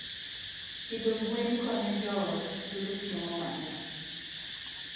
Pidho gwen konyo joot yudo chiemo mang'eny.